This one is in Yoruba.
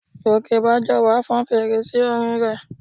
Gòkèbájọwà fọn fèrè sí orin rẹ̀